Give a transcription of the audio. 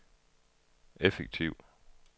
effektiv